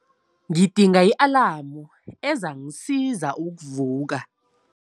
Ngidinga i-alamu ezangisiza ukuvuka.